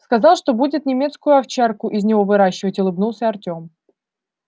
сказал что будет немецкую овчарку из него выращивать улыбнулся артём